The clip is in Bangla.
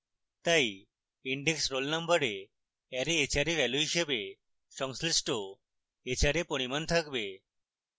তাই index roll number array hra value হিসাবে সংশ্লিষ্ট hra পরিমাণ থাকবে